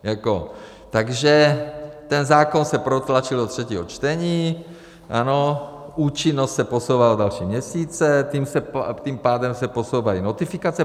Takže ten zákon se protlačil do třetího čtení, ano, účinnost se posouvá o další měsíce, tím pádem se posouvají notifikace.